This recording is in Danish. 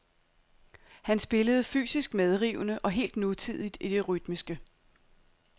Han spillede fysisk medrivende og helt nutidigt i det rytmiske.